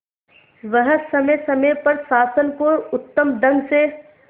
वह समय समय पर शासन को उत्तम ढंग से